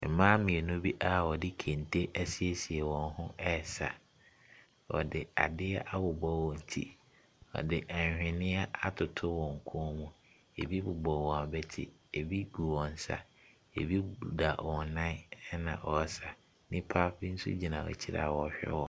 Mmaa mmienu bi a wɔde kente asiesie wɔn ho resa. Wɔde adeɛ abobɔ wɔn ti. Wɔde ahwenneɛ atoto wɔn kɔn mu. Ebi bobɔ wɔn abati, ebi gu wɔn nsa. Ebi deda wɔn, ɛnna wɔresa. Nnipa nso gyina akyire a ɔrehwɛ wɔn.